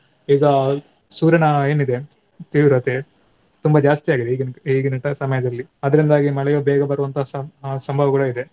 ಈಗ ಸೂರ್ಯನ ಏನಿದೆ ತೀವ್ರತೆ ತುಂಬಾ ಜಾಸ್ತಿ ಆಗಿದೆ ಈಗಿನ ಈಗಿನಂತಹ ಸಮಯದಲ್ಲಿ. ಆದ್ರಿಂದಾಗಿ ಮಳೆಯೂ ಬೇಗ ಬರುವಂತಹ ಸಂ~ ಸಂಭವಗಳು ಇದೆ.